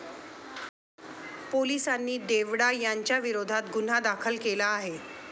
पोलिसांनी देवडा यांच्याविरोधात गुन्हा दाखल केला आहे.